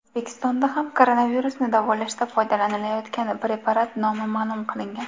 O‘zbekistonda ham koronavirusni davolashda foydalanilayotgan preparat nomi ma’lum qilingan .